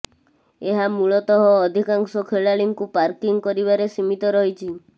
ଏହା ମୂଳତଃ ଅଧିକାଂଶ ଖେଳାଳିଙ୍କୁ ମାର୍କିଂ କରିବାରେ ସୀମିତ ରହିଛି